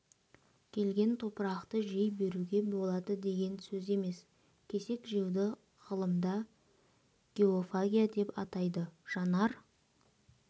келген топырақты жей беруге болады деген сөз емес кесек жеуді ғылымда геофагия деп атайды жанар